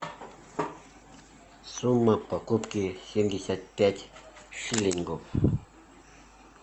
сумма покупки семьдесят пять шиллингов